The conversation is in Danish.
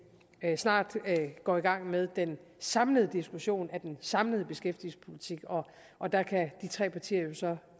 snart går i gang med den samlede diskussion af den samlede beskæftigelsespolitik og der kan de tre partier jo så